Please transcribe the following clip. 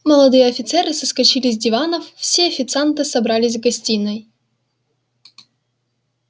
молодые офицеры соскочили с диванов все официанты собрались в гостиной